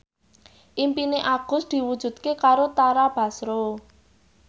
impine Agus diwujudke karo Tara Basro